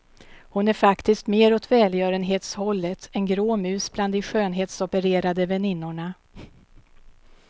Hon är faktiskt mer åt välgörenhetshållet, en grå mus bland de skönhetsopererade väninnorna.